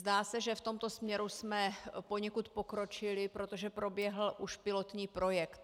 Zdá se, že v tomto směru jsme poněkud pokročili, protože proběhl už pilotní projekt.